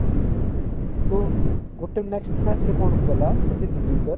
ତ ଗୋଟେ next match ରେ କଣ କଲା ସଚିନ ତେନ୍ଦୁଲକର